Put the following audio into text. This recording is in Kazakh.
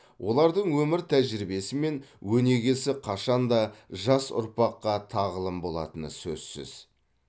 олардың өмір тәжірибесі мен өнегесі қашанда жас ұрпаққа тағылым болатыны сөзсіз